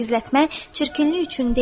Gizlətmək çirkinlik üçün deyil.